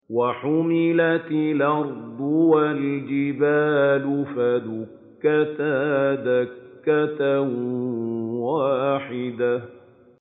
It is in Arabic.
وَحُمِلَتِ الْأَرْضُ وَالْجِبَالُ فَدُكَّتَا دَكَّةً وَاحِدَةً